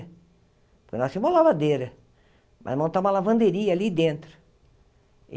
nós tínhamos uma lavadeira, mas montar uma lavanderia ali dentro.